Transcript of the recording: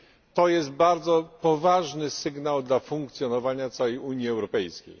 To jest bardzo poważny sygnał dla funkcjonowania całej Unii Europejskiej.